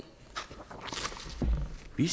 vi